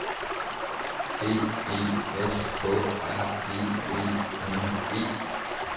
B E S K R E V N E